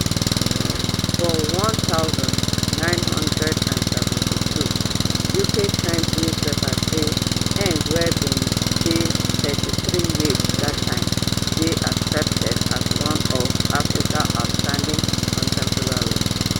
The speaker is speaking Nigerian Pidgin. for one thousand, nine hundred and seventy-two uk times newspaper say ngg wey bin dey thirty-three years dat time dey accepted as one of africa outstanding contemporary writers